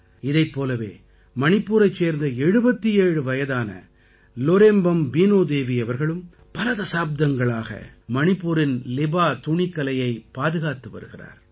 இதைப் போலவே மணிப்பூரைச் சேர்ந்த 77 வயதான லோரேம்பம் பீனோ தேவி அவர்களும் பல தசாப்தங்களாக மணிப்பூரின் லிபா துணிக் கலையைப் பாதுகாத்து வருகிறார்